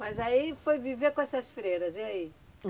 Mas aí foi viver com essas freiras, e aí?